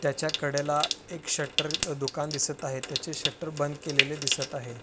त्याच्या कडेला एक शटर दुकान दिसत आहे. त्याचे शटर बंद केलेले दिसत आहे.